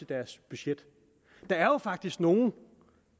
deres budget der er faktisk nogle